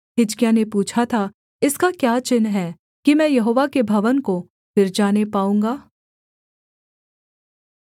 हिजकिय्याह ने पूछा था इसका क्या चिन्ह है कि मैं यहोवा के भवन को फिर जाने पाऊँगा